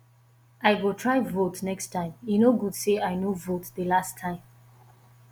i go try vote next time e no good say i no vote the last time